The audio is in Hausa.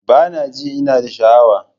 Bana jin ina da sha'awa.